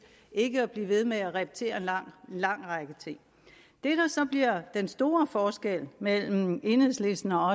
ikke at blive ved med at repetere en lang række ting det der så bliver den store forskel mellem enhedslisten og